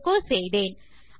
echo செய்தேன்